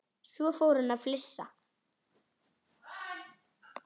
Svo fór hann að flissa.